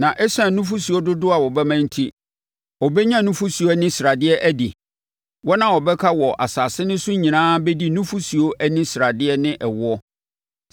Na ɛsiane nufosuo dodoɔ a wɔbɛma enti, ɔbɛnya nufosuo ani sradeɛ adi. Wɔn a wɔbɛka wɔ asase no so nyinaa bɛdi nufosuo ani sradeɛ ne ɛwoɔ.